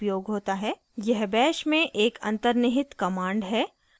यह bash में एक अन्तर्निहित command है